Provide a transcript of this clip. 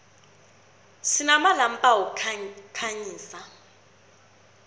sinamalampa wokukhanyisa